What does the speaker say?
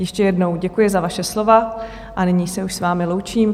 Ještě jednou děkuji za vaše slova a nyní se už s vámi loučím.